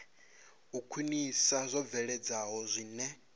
u khwinisa zwo bveledzwaho zwine